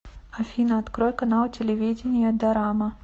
афина открой канал телевидения дорама